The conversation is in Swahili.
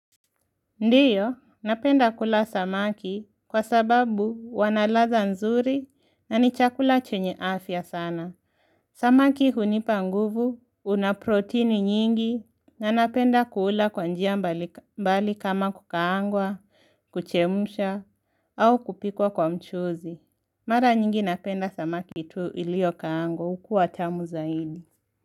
Ndiyo, napenda kula samaki kwa sababu wanaladha nzuri na ni chakula chenye afya sana. Samaki hunipa nguvu, unaproteini nyingi, na napenda kuula kwa njia mbali kama kukaangwa, kuchemusha, au kupikwa kwa mchuzi. Mara nyingi napenda samaki tu ilio kaangwa, ukua tamu za ini.